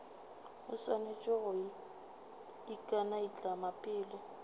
o swanetše go ikanaitlama pele